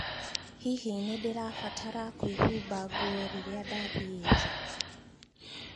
Hihi nĩ ndirabatara kwĩhumba nguo rĩrĩa ndathiĩ nja